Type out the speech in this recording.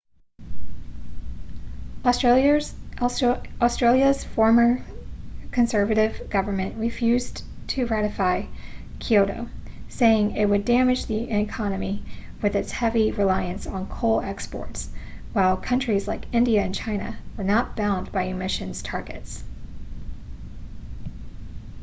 australia's former conservative government refused to ratify kyoto saying it would damage the economy with its heavy reliance on coal exports while countries like india and china were not bound by emissions targets